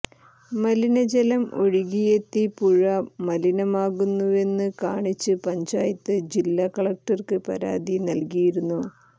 മലിനജലം ഒഴുകിയെത്തി പുഴ മലിനമാകുന്നുവെന്ന് കാണിച്ച് പഞ്ചായത്ത് ജില്ല കലക്ടർക്ക് പരാതി നൽകിയിരുന്നു